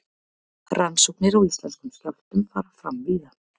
rannsóknir á íslenskum skjálftum fara fram víða